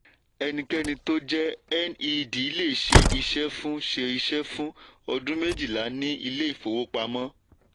enikeni tó jẹ́ ned lè ṣe iṣẹ́ fún ṣe iṣẹ́ fún ọdún méjìlá ní ilé ifówopàmọ́.